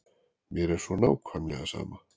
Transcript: Mér er svo nákvæmlega sama.